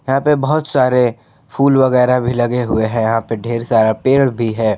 यहां पे बहुत सारे फूल वगैरह भी लगे हुए हैं यहां पे ढेर सारा पेड़ भी है।